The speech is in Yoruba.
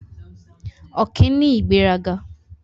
Ọ̀kín ní ìgbéraga.